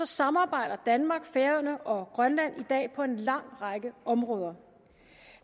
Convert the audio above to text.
samarbejder danmark færøerne og grønland i dag på en lang række områder